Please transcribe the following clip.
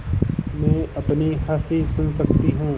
मैं अपनी हँसी सुन सकती हूँ